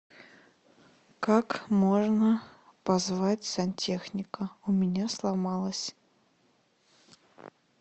как можно позвать сантехника у меня сломалась